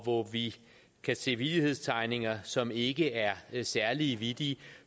hvor vi kan se vittighedstegninger som ikke er særlig vittige